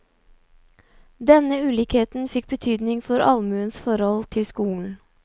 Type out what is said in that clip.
Denne ulikheten fikk betydning for allmuens forhold til skolen.